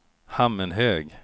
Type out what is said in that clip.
Hammenhög